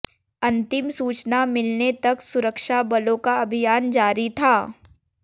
अंतिम सूचना मिलने तक सुरक्षा बलों का अभियान जारी था